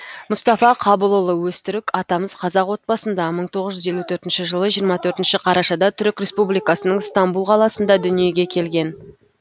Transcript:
мұстафа қабылұлы өзтүрік атамыз қазақ отбасында мың тоғыз жүз елу төртінші жылы жиырма төртінші қарашада түрік республикасының стамбұл қаласында дүниеге келген